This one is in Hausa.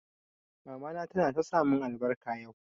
Mama ta na ta sa mun albarka yau